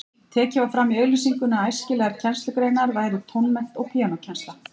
Tekið var fram í auglýsingunni að æskilegar kennslugreinar væru tónmennt og píanókennsla.